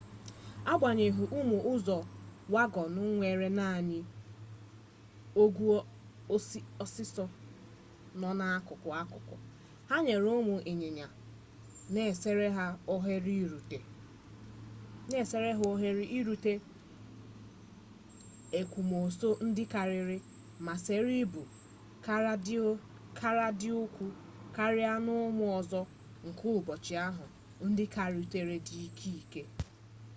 agbanyeghị ụmụ ụzọwagọn nwere naanị ogwe osisi nọ n'akụkụ n'akụkụ ha nyere ụmụ ịnyịnya na-esere ha ohere irute ekwomọsọ ndị karịrị ma sere ibu kara dị ukwuu karịa n'ụmụ ụzọ nke ụbọchị ahụ ndị karịtụrụ dị ike ike